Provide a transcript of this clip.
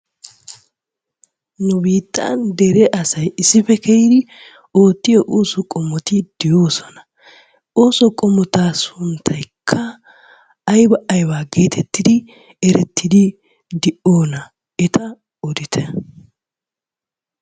Nu biittan dere asay issippe keehi oottiyo ooso qommoti de'oosona. Ooso qommota sunttaykka ayba aybaa geetettidi erettidi de'iyonaa? Eta odite.